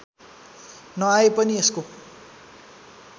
नआए पनि यसको